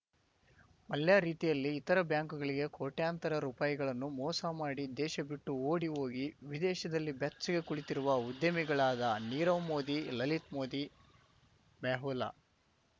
ಮಲ್ಯ ರೀತಿಯಲ್ಲಿ ಇತರ ಬ್ಯಾಂಕ್‌ಗಳಿಗೆ ಕೋಟ್ಯಂತರ ರುಪಾಯಿಗಳನ್ನು ಮೋಸ ಮಾಡಿ ದೇಶ ಬಿಟ್ಟು ಓಡಿ ಹೋಗಿ ವಿದೇಶದಲ್ಲಿ ಬೆಚ್ಚಗೆ ಕುಳಿತಿರುವ ಉದ್ಯಮಿಳಾದ ನೀರವ್‌ ಮೋದಿ ಲಲಿತ್‌ ಮೋದಿ ಮೆಹುಲ